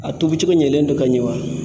A tobi cogo ɲɛlen don ka ɲɛ wa?